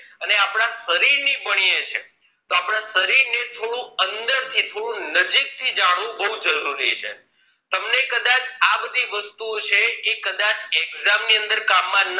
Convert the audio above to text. અને આપણા શરીર ની ભણીએ છીએ તો આપણા શરીર ને થોડું અંદર થી થોડું નજીક થી જાણવું બહુ જરૂરી છે તમને કદાચ આ બધી વસ્તુઓ છે એ કદાચ exam ની અંદર કામ માં